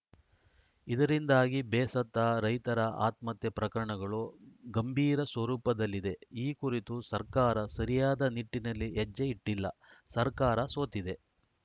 ಇದರಿಂದಾಗಿ ಬೇಸತ್ತ ರೈತರ ಆತ್ಮಹತ್ಯೆ ಪ್ರಕರಣಗಳು ಗಂಭೀರ ಸ್ವರೂಪದಲ್ಲಿದೆ ಈ ಕುರಿತು ಸರ್ಕಾರ ಸರಿಯಾದ ನಿಟ್ಟಿನಲ್ಲಿ ಹೆಜ್ಜೆ ಇಟ್ಟಿಲ್ಲ ಸರ್ಕಾರ ಸೋತಿದೆ